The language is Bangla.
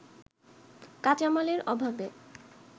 কাঁচামালের অভাবে